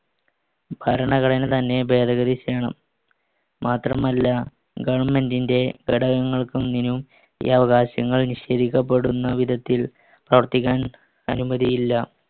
ഭരണഘടനതന്നെ ഭേദഗതി ചെയ്യണം. മാത്രമല്ല government ന്‍റെ ഘടകങ്ങൾക്കൊനിന്നും ഈ അവകാശങ്ങൾ നിഷേധിക്കപ്പെടുന്ന വിധത്തിൽ പ്രവർത്തിക്കാൻ അനുമതിയില്ല.